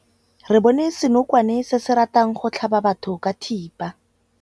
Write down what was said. Re bone senokwane se se ratang go tlhaba batho ka thipa.